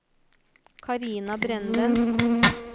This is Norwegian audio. Karina Brenden